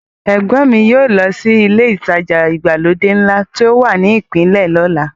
Ẹ̀gbọ́n mi yóò lọ sí ilé ìtajà ìgbàlódé ńlá tí ó wà ní ìpínlẹ̀ lọ́la.